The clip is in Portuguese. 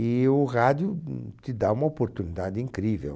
E o rádio, hum, te dá uma oportunidade incrível.